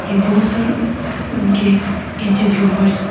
ये दो सर उनके इंटरव्यूअर्स --